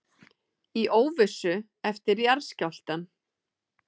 Í óvissu eftir jarðskjálftann